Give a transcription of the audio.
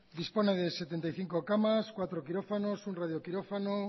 dispone de setenta y cinco camas cuatro quirófanos un radioquirófano